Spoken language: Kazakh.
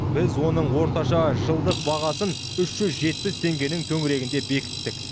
біз оның орташа жылдық бағасын үш жүз жетпіс теңгенің төңірегінде бекіттік